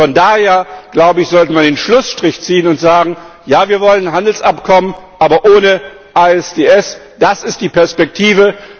Von daher sollten wir den Schlussstrich ziehen und sagen Ja, wir wollen Handelsabkommen, aber ohne ISDS, das ist die Perspektive.